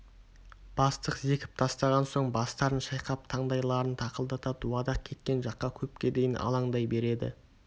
бастық зекіп тастаған соң бастарын шайқап таңдайларын тақылдата дуадақ кеткен жаққа көпке дейін алаңдай береді